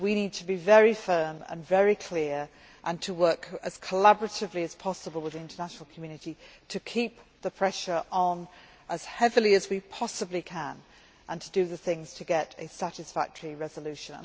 We need to be very firm and very clear and to work as collaboratively as possible with the international community to keep the pressure on as heavily as we possibly can, and to do the things required to get a satisfactory resolution.